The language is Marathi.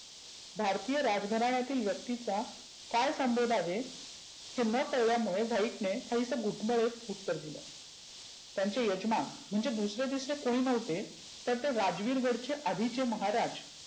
भारतीय राजघराण्यातील व्यक्तीचा काय संबोध आहे? हे न कळल्यामुळे white ने काहीसं घुटमळत उत्तर दिलं. त्यांचे यजमान म्हणजे दुसरे तिसरे कोणी नव्हते तर ते राजविर गड चे आधिचे महाराज